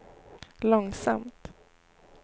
långsamt